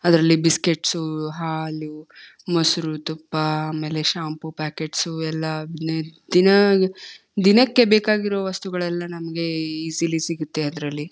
ಅದ್ರಲ್ಲಿ ಬಿಸ್ಕೆಟ್ಸ್ ಹಾಲು ಮೊಸರು ತುಪ್ಪ ಆಮೇಲೆ ಶಾಂಪೂ ಪ್ಯಾಕೆಟ್ಸ್ ಎಲ್ಲಾ ದಿನ ದಿನಕ್ಕೆ ಬೇಕಾಗಿರುವ ವಸ್ತುಗಳೆಲ್ಲ ಈಸಿಲಿ ಸಿಗುತ್ತೆ ಅದ್ರಲ್ಲಿ.